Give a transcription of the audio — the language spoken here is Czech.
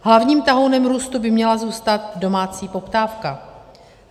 Hlavním tahounem růstu by měla zůstat domácí poptávka.